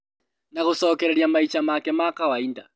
Na gũcokereria maica make ma kawainda